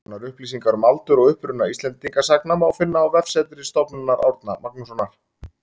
Nánari upplýsingar um aldur og uppruna Íslendingasagna má finna á vefsetri Stofnunar Árna Magnússonar